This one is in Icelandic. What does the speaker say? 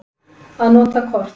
Að nota kort.